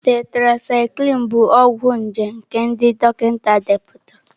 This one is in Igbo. Tetracịclịn bụ ọgwụ nje nke ndị dọkịta depụtara.